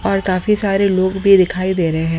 और काफी सारे लोग भी दिखाई दे रहे हैं।